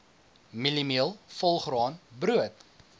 mieliemeel volgraan brood